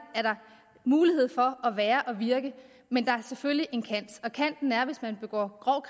er der mulighed for at være og virke men der er selvfølgelig en kant kanten er at hvis man begår grov